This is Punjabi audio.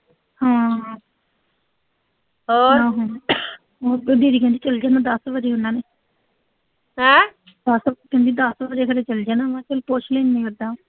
ਚਲ ਜਾਣਾ ਦਸ ਵਜੇ ਉਨ੍ਹਾਂ ਨੇ ਦਸ ਕੁ ਵਜੇ ਤੱਕ ਚਲ ਜਾਣਾ ਉਨ੍ਹਾਂ ਨੇ, ਚਲ ਪੁੱਛ ਲੂੰ ਮੈਂ ਉਦਾਂ